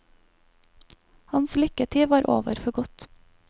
Hans lykketid var over for godt.